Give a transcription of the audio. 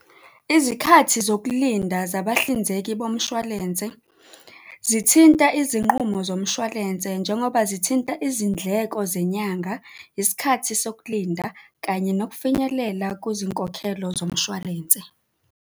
Izikhathi zokulinda zabahlinzeki bomshwalense zithinta izinqumo zomshwalense, njengoba zithinta izindleko zenyanga, isikhathi sokulinda kanye nokufinyelela kuzinkokhelo zomshwalense.